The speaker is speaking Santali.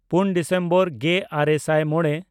ᱯᱩᱱ ᱰᱤᱥᱮᱢᱵᱚᱨ ᱜᱮᱼᱟᱨᱮ ᱥᱟᱭ ᱢᱚᱬᱮ